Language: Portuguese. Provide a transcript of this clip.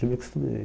Já me acostumei.